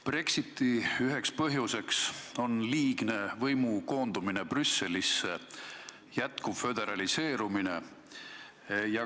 Brexiti üks põhjus on liigne võimu koondumine Brüsselisse, jätkuv föderaliseerumine.